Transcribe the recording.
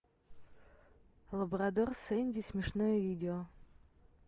лабрадор сенди смешное видео